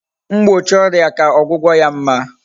mgbochi oria ka ogwugo ya mma